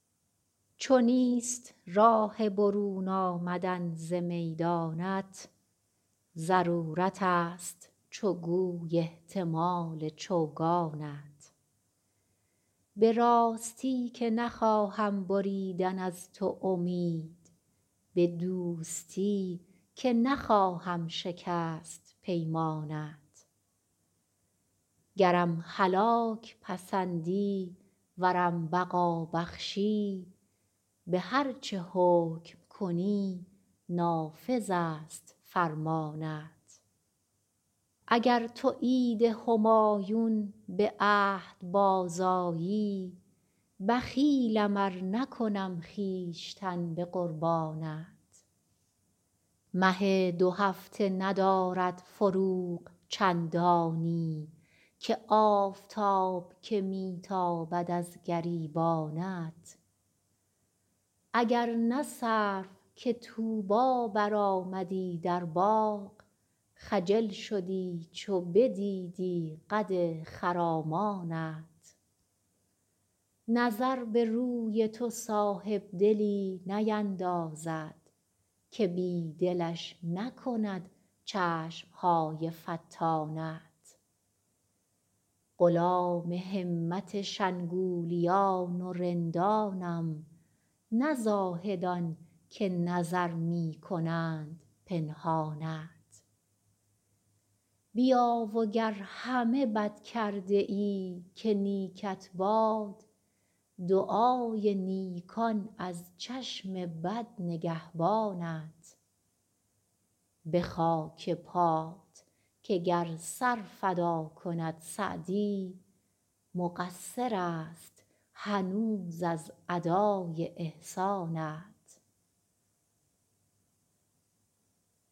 چو نیست راه برون آمدن ز میدانت ضرورتست چو گوی احتمال چوگانت به راستی که نخواهم بریدن از تو امید به دوستی که نخواهم شکست پیمانت گرم هلاک پسندی ورم بقا بخشی به هر چه حکم کنی نافذست فرمانت اگر تو عید همایون به عهد بازآیی بخیلم ار نکنم خویشتن به قربانت مه دوهفته ندارد فروغ چندانی که آفتاب که می تابد از گریبانت اگر نه سرو که طوبی برآمدی در باغ خجل شدی چو بدیدی قد خرامانت نظر به روی تو صاحبدلی نیندازد که بی دلش نکند چشم های فتانت غلام همت شنگولیان و رندانم نه زاهدان که نظر می کنند پنهانت بیا و گر همه بد کرده ای که نیکت باد دعای نیکان از چشم بد نگهبانت به خاک پات که گر سر فدا کند سعدی مقصرست هنوز از ادای احسانت